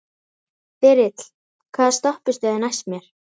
Þyrill, hvaða stoppistöð er næst mér?